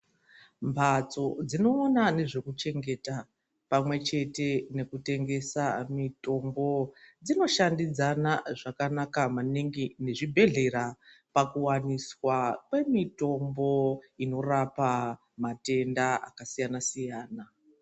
Mhatso dziinoona nezvekuchengeta pamwechete nekutengesa mitombo dzinoshandidzana zvakanaka maningi ngezvibhedhlera pakuwaniswa kwemitombo inorapa matenda akasiyana siyana.